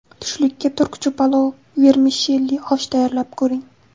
Tushlikka turkcha palov vermishelli osh tayyorlab ko‘ring.